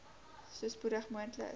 so spoedig moontlik